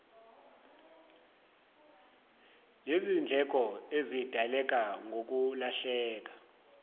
lezindleko ezidaleka ngokulahleka